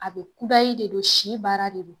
A bɛ kudayi de don si baara de don.